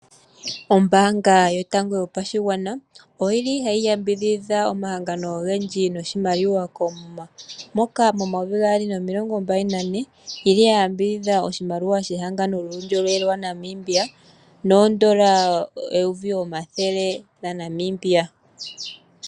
Ombaanga yotango yopashigwana ohayi yambidhidha omahangano ogendji noshimaliwa koomuma, moka momayovi gaali nomilongombali nane ya yambidhidha ehangano lyuundjolowele waNamibia nooN$ 100 000.